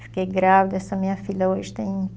Fiquei grávida, essa minha filha hoje tem